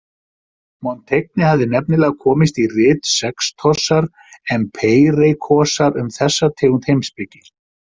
Montaigne hafði nefnilega komist í rit Sextosar Empeireikosar um þessa tegund heimspeki.